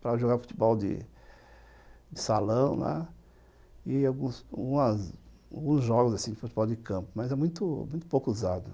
para jogar futebol de de salão, né, e alguns jogos de futebol de campo, mas é muito muito pouco usado.